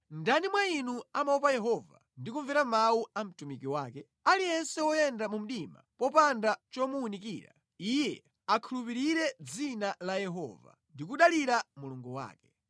Ndani mwa inu amaopa Yehova ndi kumvera mawu a mtumiki wake? Aliyense woyenda mu mdima, popanda chomuwunikira, iye akhulupirire dzina la Yehova ndi kudalira Mulungu wake.